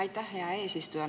Aitäh, hea eesistuja!